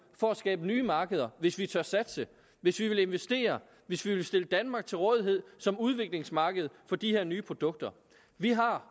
for at skabe nye markeder hvis vi tør satse hvis vi vil investere hvis vi vil stille danmark til rådighed som udviklingsmarked for de her nye produkter vi har